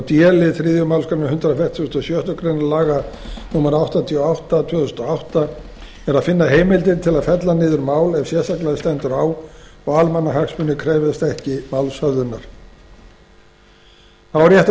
d lið þriðju málsgrein hundrað fertugasta og sjöttu grein laga númer áttatíu og átta tvö þúsund og átta er að finna heimildir til að fella niður mál ef sérstaklega stendur á og almannahagsmunir krefjast ekki málshöfðunar þá er rétt að